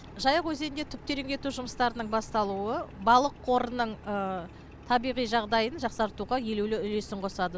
жайық өзенінде түп тереңдету жұмыстарының басталуы балық қорының табиғи жағдайын жақсартуға елеулі үлесін қосады